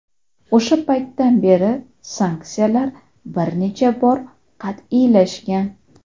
O‘sha paytdan beri sanksiyalar bir necha bor qat’iylashgan.